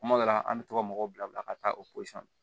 Kuma dɔ la an bɛ to ka mɔgɔw bila ka taa o posɔn na